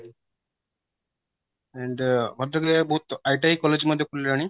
and ଭଦ୍ରକରେ ବୋହୁତ ITI college ମଧ୍ୟ ଖୋଲିଲାଣି